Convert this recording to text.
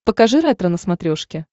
покажи ретро на смотрешке